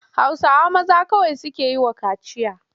Hausawa maza kawai suke yi wa kaciya.